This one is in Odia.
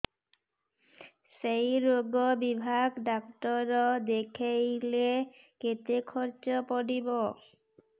ସେଇ ରୋଗ ବିଭାଗ ଡ଼ାକ୍ତର ଦେଖେଇଲେ କେତେ ଖର୍ଚ୍ଚ ପଡିବ